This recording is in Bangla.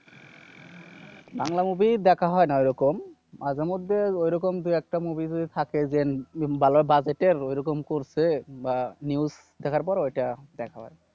বাংলা movie দেখা হয় না ওরকম। মাঝে মধ্যে ওরকম দু-একটা movie যদি থাকে যেন ভালো বাজেটের ওরকম করছে বা news দেখার পর ওইটা দেখা হয়।